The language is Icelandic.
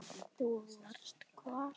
Þú varst hvar?